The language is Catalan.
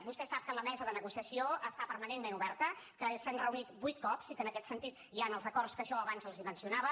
vostè sap que la mesa de negociació està permanentment oberta que s’han reunit vuit cops i que en aquest sentit hi han els acords que jo abans els mencionava